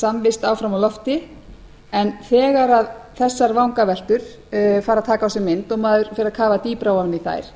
samvist áfram á lofti en þegar þessar vangaveltur fara að taka á sig mynd og maður fer að kafa dýpra ofan í þær